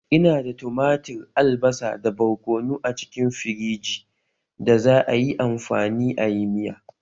Ina da tumatir, albasa, da barkono a cikin firiji da za'a yi amfani ayi miya